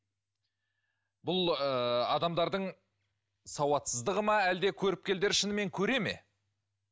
бұл ы адамдардың сауатсыздығы ма әлде көріпкелдер шынымен көре ме